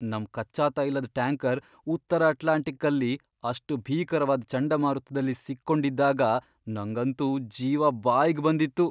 ನಮ್ ಕಚ್ಚಾ ತೈಲದ್ ಟ್ಯಾಂಕರ್ ಉತ್ತರ ಅಟ್ಲಾಂಟಿಕ್ಕಲ್ಲಿ ಅಷ್ಟ್ ಭೀಕರವಾದ್ ಚಂಡಮಾರುತ್ದಲ್ಲಿ ಸಿಕ್ಕೊಂಡಿದ್ದಾಗ ನಂಗಂತೂ ಜೀವ ಬಾಯ್ಗ್ ಬಂದಿತ್ತು.